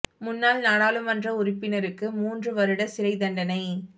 முன்னாள் நாடாளுமன்ற உறுப்பினருக்கு மூன்று வருட சிறை தண்டனை